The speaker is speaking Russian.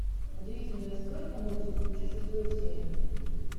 удивительная стройка мультик включи шестую серию